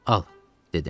Al, dedim.